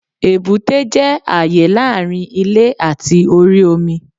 Èbúté jẹ́ àyè láàrin ilè àti orí omi